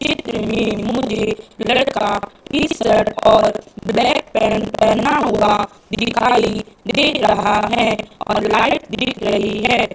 चित्र में मुझे लड़का टी शर्ट और ब्लैक पैंट पहना हुआ दिखाई दे रहा है और लाइट दिख रही है।